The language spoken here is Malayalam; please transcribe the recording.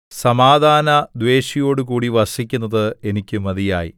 സമാധാനദ്വേഷിയോടുകൂടി വസിക്കുന്നത് എനിക്ക് മതിയായി